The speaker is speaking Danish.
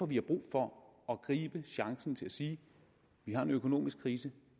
vi har brug for at gribe chancen til at sige vi har en økonomisk krise